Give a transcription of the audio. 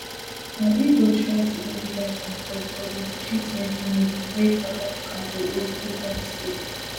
and e go try to get leaders on board for di gtwenty meeting wey south africa go host later dis year